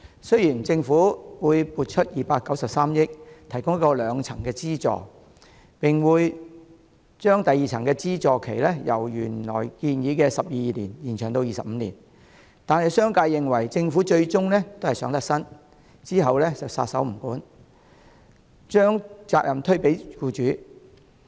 雖然政府會撥出293億元提供一個兩層的資助，並會把第二層的資助期由原來建議的12年延長至25年，但商界認為政府最終是想脫身，之後便撒手不管，把責任推給僱主。